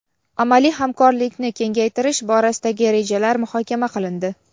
amaliy hamkorlikni kengaytirish borasidagi rejalar muhokama qilindi.